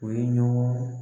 u ye ɲɔgɔn